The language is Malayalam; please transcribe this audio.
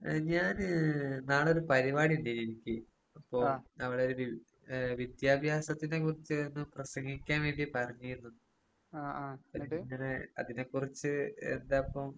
ഏഹ് ഞാന് നാളൊരു പരിപാടിയിണ്ടേനു എനിക്ക്. അപ്പോ അവടൊരു വി ഏഹ് വിദ്യാഭ്യാസത്തിനെ കുറിച്ചൊന്ന് പ്രസംഗിക്കാൻ വേണ്ടി പറഞ്ഞിരുന്നു. ഞാനിങ്ങനെ അതിനെക്കുറിച്ച് എന്താപ്പോ